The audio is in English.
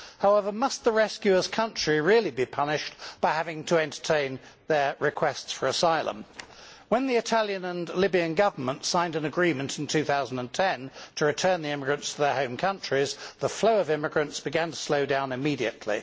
However, must the rescuer's country really be punished by having to entertain their requests for asylum? When the Italian and Libyan Governments signed an agreement in 2010 to return the immigrants to their home countries, the flow of immigrants began to slow down immediately.